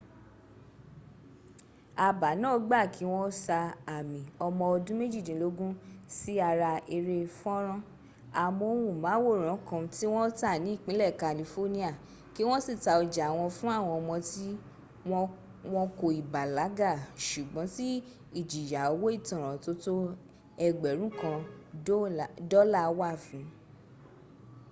àbá náà gba kí wọ́n sa àmì ọmọ ọdún méjìdínlógún” sí ara eré fọ́ńrán amóhùnmáwòrán ̀ kan tí wọ́n tà ní ìpínlẹ̀ california kí wọ́n sì ta ọjà wọn fún àwọn ọmọ tí wọn kò ì bàlágà ṣùgbọ́n tí ìjìyà owó ìtanràn tó tó ẹgbẹ̀rún kan dọ́là wà fún